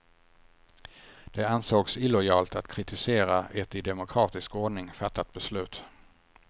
Det ansågs illojalt att kritisera ett i demokratisk ordning fattat beslut.